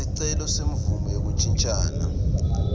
sicelo semvumo yekuntjintjiselana